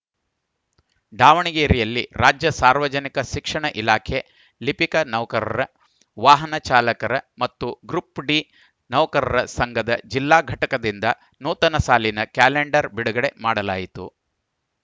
ದಾವಣಗೆರೆಯಲ್ಲಿ ರಾಜ್ಯ ಸಾರ್ವಜನಿಕ ಶಿಕ್ಷಣ ಇಲಾಖೆ ಲಿಪಿಕ ನೌಕರರ ವಾಹನ ಚಾಲಕರ ಮತ್ತು ಗ್ರೂಪ್‌ ಡಿ ನೌಕರರ ಸಂಘದ ಜಿಲ್ಲಾ ಘಟಕದಿಂದ ನೂತನ ಸಾಲಿನ ಕ್ಯಾಲೆಂಡರ್‌ ಬಿಡುಗಡೆ ಮಾಡಲಾಯಿತು